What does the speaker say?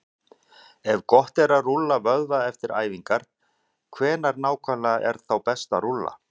Ef gott er að rúlla vöðva eftir æfingar, hvenær nákvæmlega er þá best að rúlla?